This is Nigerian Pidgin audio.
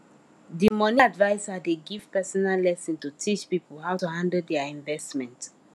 the money adviser dey give personal lesson to teach people how to handle their investment